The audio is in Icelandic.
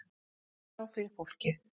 Stjórnarskrá fyrir fólkið